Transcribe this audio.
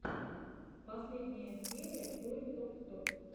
последняя серия той ток ток